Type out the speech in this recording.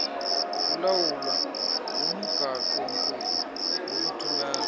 kulawulwa ngumgaqonkqubo wokuthumela